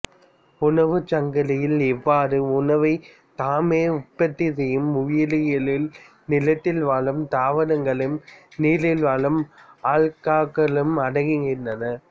உணவுச் சங்கிலியில் இவ்வாறு உணவைத் தாமே உற்பத்தி செய்யும் உயிரிகளுள் நிலத்தில் வாழும் தாவரங்களும் நீரில் வாழும் அல்காக்களும் அடங்குகின்றன